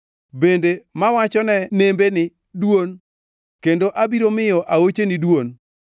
bende mawachone nembe ni, ‘Dwon, kendo abiro miyo aocheni dwon,’